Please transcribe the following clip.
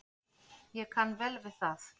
Ég kann vel við það.